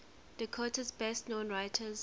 dakota's best known writers